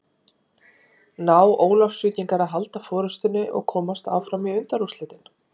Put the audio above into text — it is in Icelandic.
Ná Ólafsvíkingar að halda forystunni og komast áfram í undanúrslitin?